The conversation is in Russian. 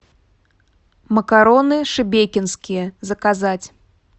макароны шебекинские заказать